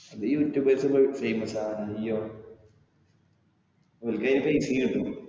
അത് youtubers അഹ് famous ആകാൻ ആണ് നീയോ? അവർക്ക് അതിനു പൈസയും കിട്ടും.